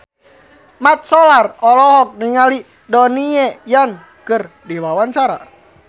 Mat Solar olohok ningali Donnie Yan keur diwawancara